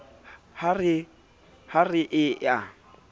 ha e re e a